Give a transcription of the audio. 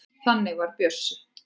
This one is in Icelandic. Þannig var Bjössi.